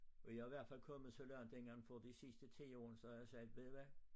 Og jeg i hvert fald kommet så langt inden for de sidste 10 år så jeg har sagt ved i hvad